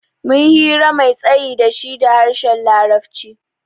Mun yi hira mai tsayi da shi da harshen larabci.